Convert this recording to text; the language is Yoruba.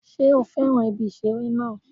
Sé ó fẹ́ràn ibi ìṣeré náà